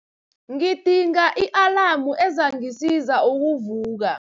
Ngidinga i-alamu ezangisiza ukuvuka.